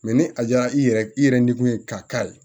ni a diyara i yɛrɛ i yɛrɛ nimun ye k'a k'a la